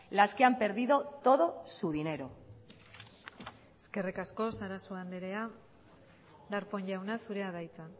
las que han perdido todo su dinero eskerrik asko sarasua andrea darpón jauna zurea da hitza